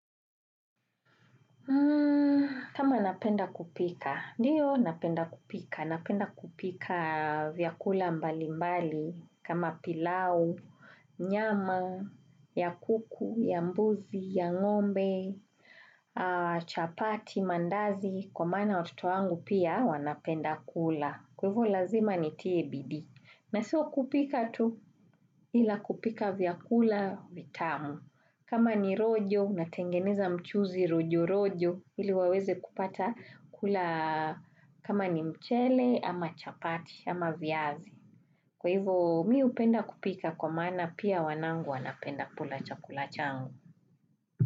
Kama napenda kupika. Ndiyo napenda kupika. Napenda kupika vyakula mbali mbali. Kama pilau, nyama, ya kuku, ya mbuzi, ya ngombe, chapati, mandazi. Kwa maana watoto wangu pia wanapenda kula. Kwevo lazima ni TABD. Na sio wa kupika tu ila kupika vyakula vitamu. Kama ni rojo na tengeneza mchuzi rojo rojo ili waweze kupata kula kama ni mchele ama chapati ama vyazi. Kwa hivyo mi upenda kupika kwa maana pia wanangu wanapenda kula chakula changu.